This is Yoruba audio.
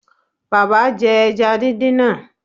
Bàbá jẹ ẹja díndín náà